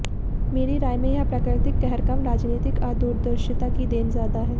मेरी राय में यह प्राकृतिक कहर कम राजनीतिक अदूरदर्शिता की देन ज्यादा है